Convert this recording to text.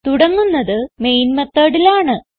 തുടങ്ങുന്നത് main method ൽ ആണ്